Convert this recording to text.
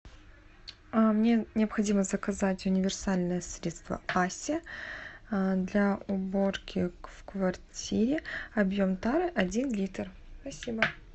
мне необходимо заказать универсальное средство ася для уборки в квартире объем тары один литр спасибо